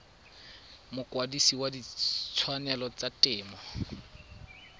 mokwadise wa ditshwanelo tsa temo